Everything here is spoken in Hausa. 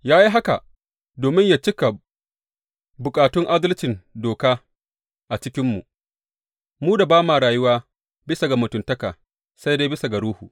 Ya yi haka domin yă cika bukatun adalcin doka a cikinmu, mu da ba ma rayuwa bisa ga mutuntaka, sai dai bisa ga Ruhu.